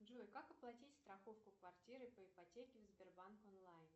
джой как оплатить страховку квартиры по ипотеке в сбербанк онлайн